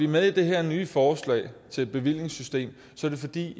med i det her nye forslag til et bevillingssystem er det fordi